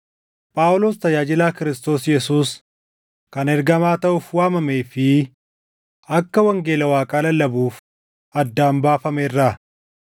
Phaawulos tajaajilaa Kiristoos Yesuus, kan ergamaa taʼuuf waamamee fi akka wangeela Waaqaa lallabuuf addaan baafame irraa: